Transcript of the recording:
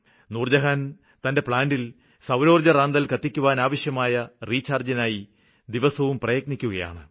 നൂര്ജ്ജഹാന് തന്റെ പ്ലാന്റില് സൌരോര്ജ്ജ റാന്തല് കത്തിക്കുവാനാവശ്യമായ റീചാര്ജ്ജിനായി ദിവസവും പ്രയത്നിക്കുകയാണ്